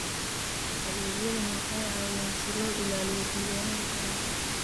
Adeegyadani waxay caawiyaan si loo ilaaliyo diiwaannada taranka.